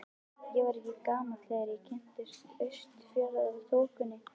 Ég var ekki gamall þegar ég kynntist Austfjarðaþokunni.